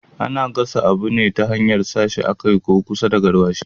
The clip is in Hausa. Ana gasa abu ne ta hanyar sa shi kan ko kusa da garwashi